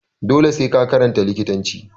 Dole sai ka karanta likitanci